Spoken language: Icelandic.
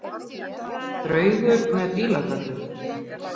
Draugur með bíladellu.